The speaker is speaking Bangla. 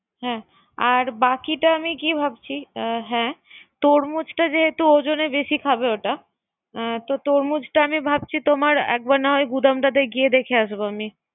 হ্যা, আর বাকিটা আমি কি ভাবছি? হ্যা তুরমুজটা যেহেতু ওজনটা বেশি খাবে ওটা তো আমি ভাবছি তোমার একবার না হয় গুদামে গিয়ে দেখে আসবো।